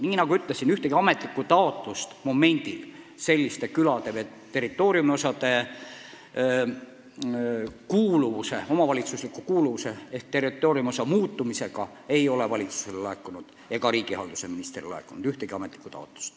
Nagu ma ütlesin, ühtegi ametlikku taotlust mõne küla või territooriumiosa omavalitsuslikku kuuluvust muuta ei ole valitsusele ega riigihalduse ministrile laekunud.